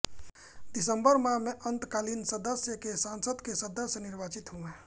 दिसंबर माह में अन्तःकालीन सदस्य के संासद के सदस्य निर्वाचित हुये